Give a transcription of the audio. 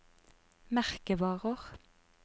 merkevarer